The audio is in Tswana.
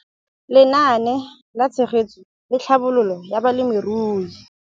Lenaane la Tshegetso le Tlhabololo ya Balemirui.